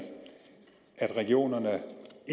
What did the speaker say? at regionerne